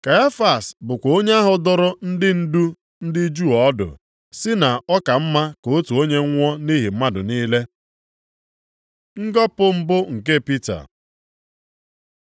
Kaịfas bụkwa onye ahụ dụrụ ndị ndu ndị Juu ọdụ, sị na ọ ka mma ka otu onye nwụọ nʼihi mmadụ niile. Ngọpụ mbụ nke Pita